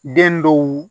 Den dɔw